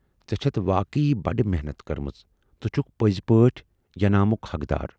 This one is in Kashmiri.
ژے چھٮ۪تھ واقعی بڈٕ محنتھ کٔرمٕژ تہٕ چھُکھ پٔزۍ پٲٹھۍ ینامُک حق دار۔